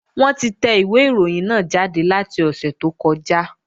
Wọ́n ti tẹ ìwé ìròyìn náà jáde láti ọ̀sẹ̀ tó kọjá